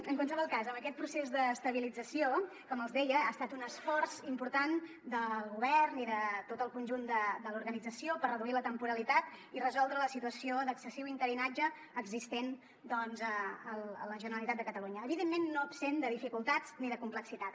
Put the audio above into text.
en qualsevol cas aquest procés d’estabilització com els deia ha estat un esforç important del govern i de tot el conjunt de l’organització per reduir la temporalitat i resoldre la situació d’excessiu interinatge existent a la generalitat de catalunya evidentment no absent de dificultats ni de complexitat